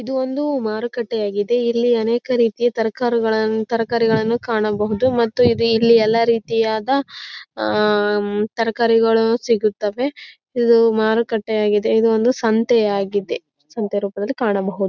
ಇದು ಒಂದು ಮಾರುಕಟ್ಟೆ ಆಗಿದೆ ಇಲ್ಲಿ ಅನೇಕ ರೀತಿಯ ತರಕಾರುಗಳ ತರಕಾರಿಗಳನ್ನು ಕಾಣಬಹುದು ಮತ್ತು ಇಲ್ಲಿ ಎಲ್ಲಾ ರೀತಿಯಾದ ತರಕಾರಿಗಳು ಸಿಗುತ್ತದೆ ಇದು ಮಾರುಕಟ್ಟೆಯಾಗಿದೆ ಇದು ಒಂದು ಸಂತೆಯಾಗಿದೆ ಸಂತೆ ರೂಪದಲ್ಲಿ ಕಾಣಬಹುದು.